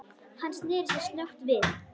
Hann sneri sér snöggt við.